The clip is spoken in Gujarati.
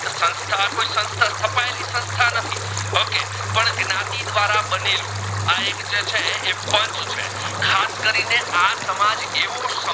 શું છે ખાસ કરી ને આ સમાજ એવુ સમજુ છે